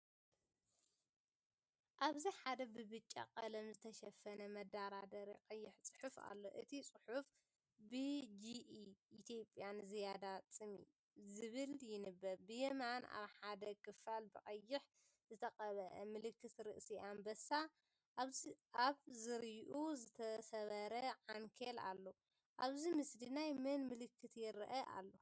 ኣብዚ ሓደ ብብጫ ቀለም ዝተሸፈነ መደርደሪ ቀይሕ ጽሑፍ ኣሎ። እቲ ጽሑፍ፡ “ብጂኢ ኢትዮጵያ ንዝያዳ ጽምኢ” ዝብል ይንበብ። ብየማን፡ ኣብ ሓደ ክፋል፡ብቐይሕ ዝተቐብአ ምልክት ርእሲ ኣንበሳ፡ ኣብ ዙርያኡ ዝተሰብረ ዓንኬል ኣሎ። ኣብዚ ምስሊ ናይ መን ምልክት ይረአ ኣሎ?